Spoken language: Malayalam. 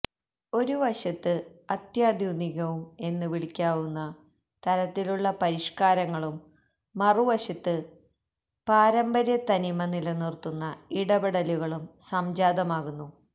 ഒരു വശത്ത് അത്യന്താധുനികം എന്ന് വിളിക്കാവുന്ന തരത്തിലുള്ള പരിഷ്കാരങ്ങളും മറുവശത്ത് പാരമ്പര്യത്തനിമ നിലനിർത്തുന്ന ഇടപെടലുകളും സംജാതമാകുന്നു